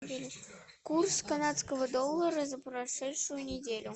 курс канадского доллара за прошедшую неделю